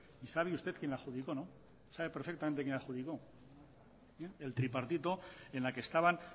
y sabe usted quién la adjudicó no sabe perfectamente quién la adjudicó el tripartito en la que estaban